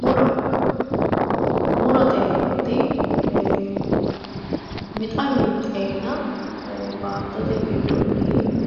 Muro murote yineemmoti wixa winxe xeena baattote giddonni